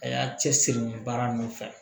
A y'a cɛ siri baara ninnu fɛ